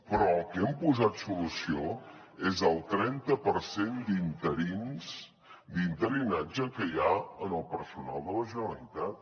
però al que hem posat solució és al trenta per cent d’interinatge que hi ha en el personal de la generalitat